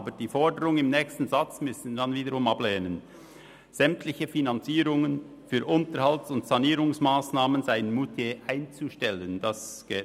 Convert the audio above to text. aber die Forderung im nächsten Satz, sämtliche Finanzierungen für Unterhalts- und Sanierungsmassnahmen seien in Moutier einzustellen, müssen wir hingegen ablehnen.